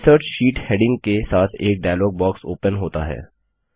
insert sheet heading के साथ एक डायलॉग बॉक्स ओपन होता है